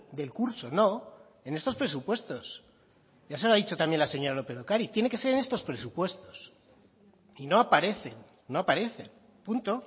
del curso no en estos presupuestos ya se lo ha dicho también la señora lópez de ocariz tiene que ser en estos presupuestos y no aparecen no aparecen punto